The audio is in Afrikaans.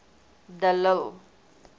de lille